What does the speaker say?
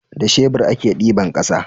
Da shebur a ke diban ƙasa